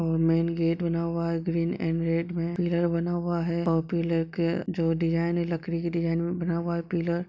और main gate बना हुआ है ग्रीन एंड रेड में पिलर बना हुआ हैपिलर के जो डिजायन लकड़ी के डिज़ाइन में बना हुआ है पिलर |